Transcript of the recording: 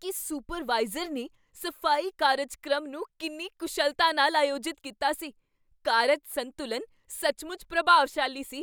ਕੀ supervisor ਨੇ ਸਫ਼ਾਈ ਕਾਰਜਕ੍ਰਮ ਨੂੰ ਕਿੰਨੀ ਕੁਸ਼ਲਤਾ ਨਾਲ ਆਯੋਜਿਤ ਕੀਤਾ ਸੀ! ਕਾਰਜ ਸੰਤੁਲਨ ਸੱਚਮੁੱਚ ਪ੍ਰਭਾਵਸ਼ਾਲੀ ਸੀ।